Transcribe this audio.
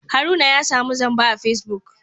Haruna ya samu zamba a Facebook